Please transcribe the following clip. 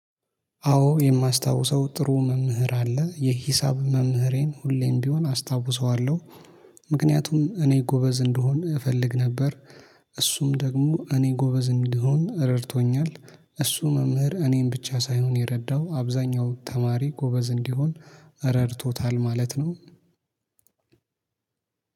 አዎ የማስታውሰው ጥሩ መምህር አለ የሂሳብ መምህሬን ሁሌም ቢሆን አስታውሰዋለሁ። ምክንያቱም እኔ ጎበዝ እንድሆን እፈልግ ነበር። እሱም ደግሞ እኔ ጎበዝ እንደሆን ረድቶኛል። እሱ መምህር እኔን ብቻ ሳይሆን የረዳው አብዛኛው ተማሪ ጎበዝ እንዲሆን ረድቶታል ማለት ነው።